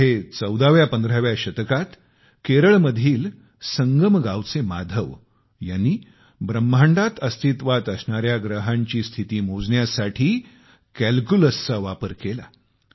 पुढे चौदाव्या पंधराव्या शतकात केरळमधील संगम गावचे माधव यांनी ब्रह्मांडात अस्तित्वात असणाऱ्या ग्रहांची स्थिती मोजण्यासाठी कॅल्क्युलसचा वापर केला